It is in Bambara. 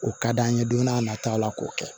O ka d'an ye don n'a nataw la k'o kɛ